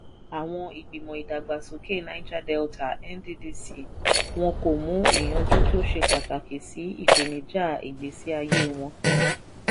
àwọn ìgbìmọ̀ ìdàgbàsókè niger delta ]cs] nddc wọn kò mú ìyànjú tó ṣe pàtàkì sí ìpènijà ìgbésí ayé wọn.